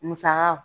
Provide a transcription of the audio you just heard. Musaka